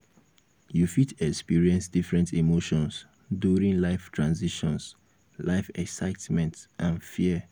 you fit experience different emotions during life transitions life excitement and fear.